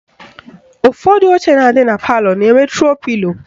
Ụfọdụ oche dị na palọ na-enwe tro pilo